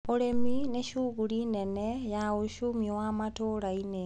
ũrĩmi nĩ cuguri nene ya ucumi wa matũrainĩ.